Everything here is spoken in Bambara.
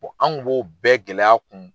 an kun b'o bɛɛ gɛlɛya kun.